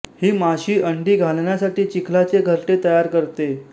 ही माशी अंडी घालण्यासाठी चिखलाचे घरटे तयार करते